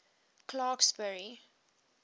clarksburry